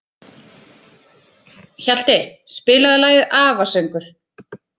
Hjalti, spilaðu lagið „Afasöngur“.